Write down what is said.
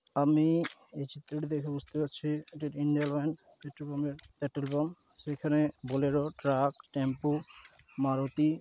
আমি এই চিত্রটি দেখে বুঝতে পারছি এটি ইন্ডিয়ান অয়েন পেট্রোল পাম্প -এর পেট্রোল পাম্প । সেখানে বোলেরো ট্রাক টেম্পো মারুতি--